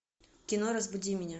кино разбуди меня